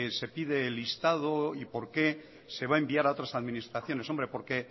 se pide el listado y por qué se va a enviar a otras administraciones hombre porque